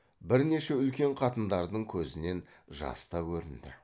бірнеше үлкен қатындардың көзінен жас та көрінді